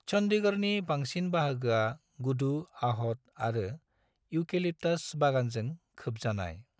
चन्डीगढ़नि बांसिन बाहागोआ गुदु आहत आरो इउकेलिप्टास बागानजों खोबजानाय।